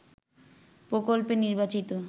প্রকল্পে নির্বাচিত